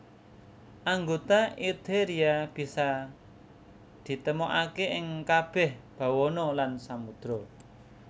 Anggota Eutheria bisa ditemokaké ing kabèh bawana lan samudra